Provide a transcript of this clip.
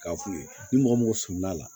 K'a f'u ye ni mɔgɔ min somila la